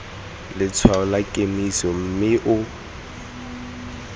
letshwaong la kemiso mme o